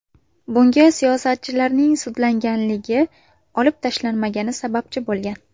Bunga siyosatchining sudlanganligi olib tashlanmagani sababchi bo‘lgan.